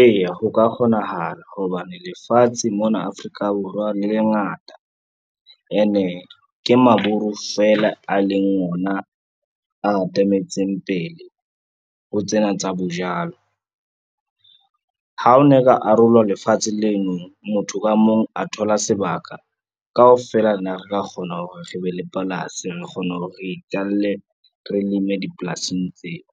Eya ho ka kgonahala hobane lefatshe mona Afrika Borwa le le ngata ene e ke Maburu fela a leng ona a atametseng pele ho tsena tsa bo jalo. Ha o na ka arolwa lefatshe lenono motho ka mong a thola sebaka, kaofela na re ka kgona hore re be le polasi, re kgona ho re itjalle, re leme dipolasing tseo.